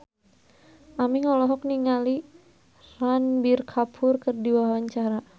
Aming olohok ningali Ranbir Kapoor keur diwawancara